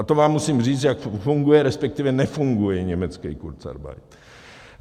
A to vám musím říct, jak funguje, respektive nefunguje německý kurzarbeit.